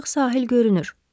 Artıq sahil görünür.